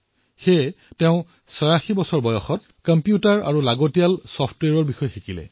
সেয়ে তেওঁ ৮৬ বছৰ বয়সত কম্পিউটাৰ শিকিলে নিজৰ বাবে প্ৰয়োজনীয় ছফটৱেৰ শিকিলে